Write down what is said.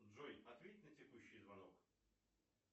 джой ответь на текущий звонок